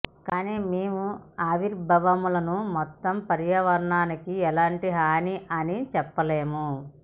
కానీ మేము ఆవిర్భావములను మొత్తంగా పర్యావరణానికి ఎలాంటి హాని అని చెప్పలేము